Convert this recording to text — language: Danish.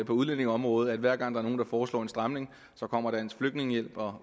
på udlændingeområdet at hver gang der er nogle der foreslår en stramning kommer dansk flygtningehjælp og